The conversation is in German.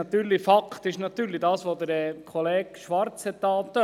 Aber Fakt ist natürlich das, was Kollege Schwarz angetönt hat: